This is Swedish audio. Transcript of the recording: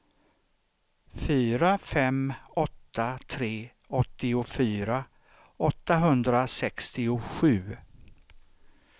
fyra fem åtta tre åttiofyra åttahundrasextiosju